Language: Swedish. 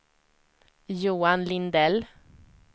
Johan Lindell